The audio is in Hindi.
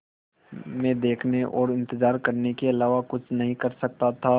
मैं देखने और इन्तज़ार करने के अलावा कुछ नहीं कर सकता था